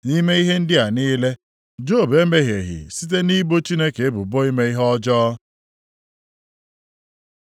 Nʼime ihe ndị a niile, Job emehieghị site nʼibo Chineke ebubo ime ihe ọjọọ.